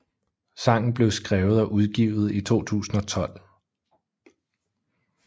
Sangen blev skrevet og udgivet i 2012